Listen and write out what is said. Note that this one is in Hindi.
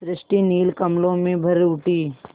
सृष्टि नील कमलों में भर उठी